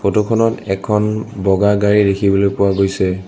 Photo খনত এখন বগা গাড়ী দেখিবলৈ পোৱা গৈছে।